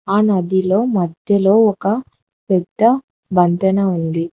ఆ నదిలో మధ్యలో ఒక పెద్ద వంతెన ఉంది.